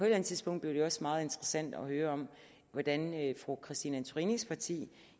andet tidspunkt bliver det også meget interessant at høre om hvordan fru christine antorinis parti